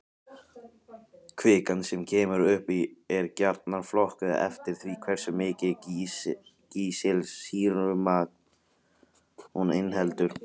Kvikan sem kemur upp er gjarnan flokkuð eftir því hversu mikið kísilsýrumagn hún inniheldur.